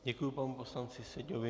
Děkuji panu poslanci Seďovi.